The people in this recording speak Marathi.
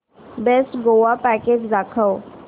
बेस्ट गोवा पॅकेज दाखव